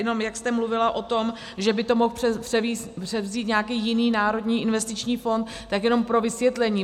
Jenom jak jste mluvila o tom, že by to mohl převzít nějaký jiný národní investiční fond, tak jenom pro vysvětlení.